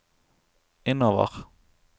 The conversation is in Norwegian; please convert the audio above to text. innover